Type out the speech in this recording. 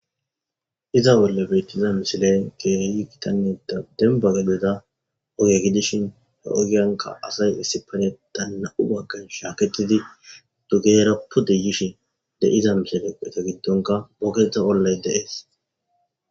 Iza bolla bettiza missileyi kehi gitanne daligga denibba gadezza ogee gidishin hee ogiyannikka asayi issippeteththanni nam''u baganikka gididi bizayissa be'oss.